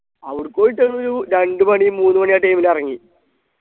അവിട്ക്ക് പോയിട്ട് ഒരൊരു രണ്ടുമണി മൂന്നുമണി ആ time ല് ഇറങ്ങി